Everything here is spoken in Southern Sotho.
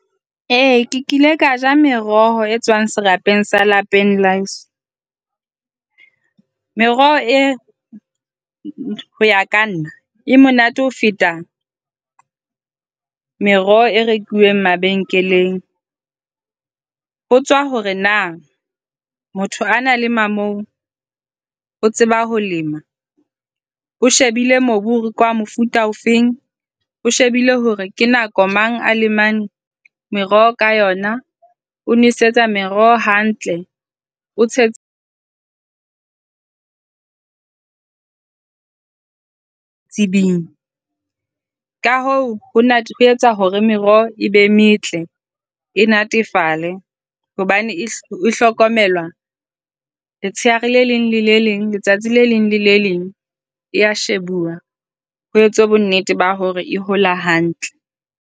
E, ke kile ka ja meroho e tswang serapeng sa lapeng la heso. Meroho ena ho ya ka nna e monate ho feta meroho e rekuweng mabenkeleng. Ho tswa hore na motho a na lema moo o tseba ho lema. O shebile mobu hore ke wa mofuta ofe, o shebile hore ke nako mang a lemang meroho ka yona. O nwesetsa meroho hantle. O tsebisa ka hoo o etsa hore meroho e be metle. E natefale hobane e hlokomelwa letsheare le leng le le leng, letsatsi le leng le le leng e a shebuwa ho etswe bonnete ba hore e hola hantle.